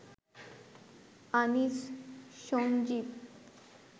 Anis, Sanjeev